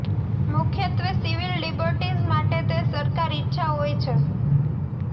મુખ્યત્વે civil liberties માટે તે સરકાર ઇચ્છા હોય છે